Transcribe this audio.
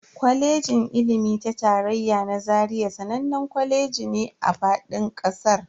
Kwalejin ilimi ta tarayya na Zaria sananne kwaleji ne a fadin kasar.